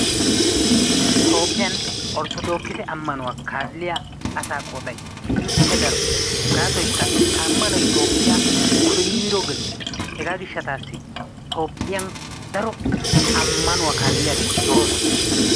Toophphiyan orttodokkisse ammanuwa kaaliya asaa qooday keehippe daro gaasoykka ha ammanoy Etoophphiya koyro geliis. Hegaa gishshatassi Toophphiyan daro ammanuwa kaaliyageeti de'oosona.